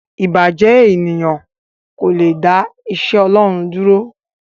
Ìbàjẹ́ ènìyàn kò le dá iṣẹ́ Ọlọ́run dúró.